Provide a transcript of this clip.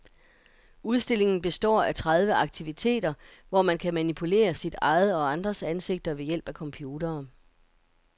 Udstillingen består af tredive aktiviteter, hvor man kan manipulere sit eget og andres ansigter ved hjælp af computere.